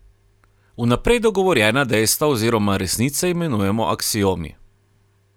Vnaprej dogovorjena dejstva oziroma resnice imenujemo aksiomi.